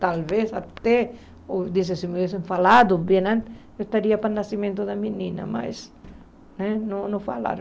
Talvez até, se me tivessem falado bem antes, eu estaria para o nascimento da menina, mas né não não falaram.